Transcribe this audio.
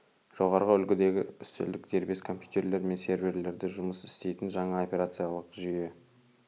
жоғарғы үлгідегі үстелдік дербес компьютерлер мен серверлерде жұмыс істейтін жаңа операциялық жүйе